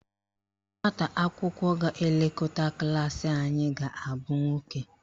Nwata akwụkwọ ga-elekọta klaasị anyị ga-abụ nwoke.